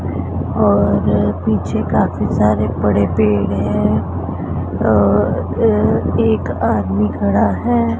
और पीछे काफी सारे बड़े पेड़ हैं और एक आदमी खड़ा है।